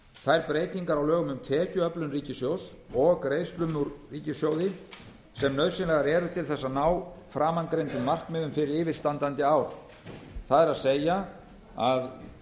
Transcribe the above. þær breytingar á lögum um tekjuöflun ríkissjóðs og greiðslum úr ríkissjóði sem nauðsynlegar eru til að ná framangreindum markmiðum fyrir yfirstandandi ár það er að